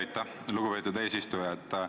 Aitäh, lugupeetud eesistuja!